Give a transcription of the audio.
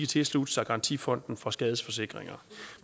tilslutte sig garantifonden for skadesforsikringer